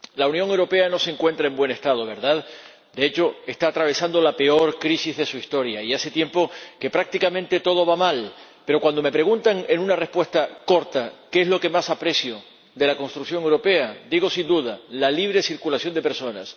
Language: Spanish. Señor Presidente, la Unión Europea no se encuentra en buen estado, ¿verdad? De hecho, está atravesando la peor crisis de su historia y hace tiempo que prácticamente todo va mal, pero cuando me piden una respuesta corta a qué es lo que más aprecio de la construcción europea, digo sin duda la libre circulación de personas.